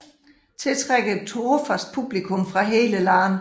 Tiltrækker et trofast publikum fra hele landet